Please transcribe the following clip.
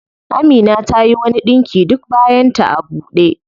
Amina tayi wani ɗinki duk bayan ta a ɓude.